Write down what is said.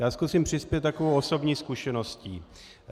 Já zkusím přispět takovou osobní zkušeností.